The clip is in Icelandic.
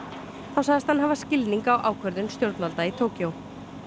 þá sagðist hann hafa skilning á ákvörðun stjórnvalda í Tókýó